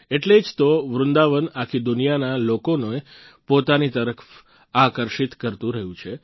એટલે જ તો વૃંદાવન આખી દુનિયાના લોકોને પોતાની તરફ આકર્ષિત કરતું રહયું છે